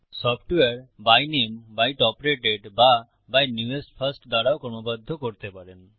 software by নামে by top rated বা by newest first দ্বারাও ক্রমবদ্ধ করতে পারেন